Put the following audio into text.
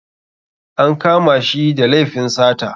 An kama shi da laifin sata.